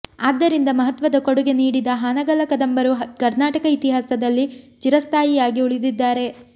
ಆದ್ದರಿಂದ ಮಹತ್ವದ ಕೊಡುಗೆ ನೀಡಿದ ಹಾನಗಲ್ಲ ಕದಂಬರು ಕರ್ನಾಟಕ ಇತಿಹಾಸದಲ್ಲಿ ಚಿರಸ್ಥಾಯಿಯಾಗಿ ಉಳಿದಿದ್ದಾರೆ